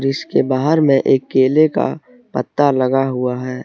इसके बाहर में एक केले का पता लगा हुआ है।